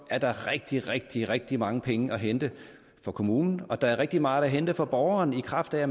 er der rigtig rigtig rigtig mange penge at hente for kommunen og der er rigtig meget at hente for borgeren i kraft af at